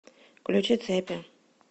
включи цепи